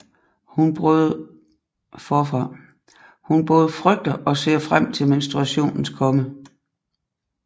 Hun både frygter og ser frem til menstruationens komme